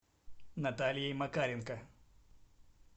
натальей макаренко